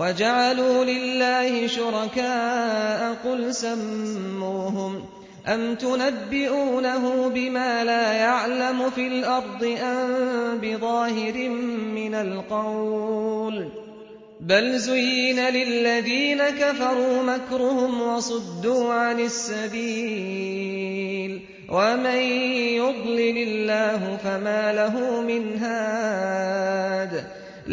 وَجَعَلُوا لِلَّهِ شُرَكَاءَ قُلْ سَمُّوهُمْ ۚ أَمْ تُنَبِّئُونَهُ بِمَا لَا يَعْلَمُ فِي الْأَرْضِ أَم بِظَاهِرٍ مِّنَ الْقَوْلِ ۗ بَلْ زُيِّنَ لِلَّذِينَ كَفَرُوا مَكْرُهُمْ وَصُدُّوا عَنِ السَّبِيلِ ۗ وَمَن يُضْلِلِ اللَّهُ فَمَا لَهُ مِنْ هَادٍ